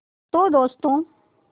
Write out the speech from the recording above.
तो दोस्तों